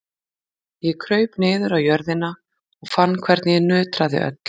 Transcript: Ég kraup niður á jörðina og fann hvernig ég nötraði öll.